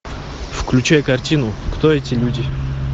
включай картину кто эти люди